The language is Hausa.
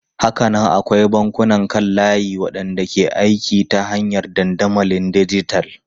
Hakanan akwai bankunan kan layi waɗanda ke aiki ta hanyar dandamalin dijital.